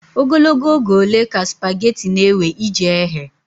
Ogologo oge ole ka sụpaghetị na-ewe iji ehe?